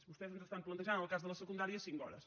vostès ens estan plantejant en el cas de la secundària cinc hores